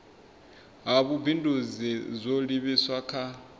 ha vhubindudzi zwo livhiswa kha